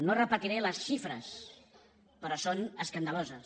no repetiré les xifres però són escandaloses